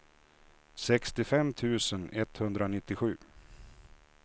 sextiofem tusen etthundranittiosju